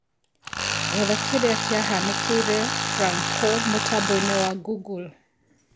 rora kĩrĩa kĩahanĩkĩre Franco mũtambo-inĩ wa google